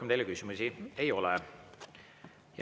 Rohkem teile küsimusi ei ole.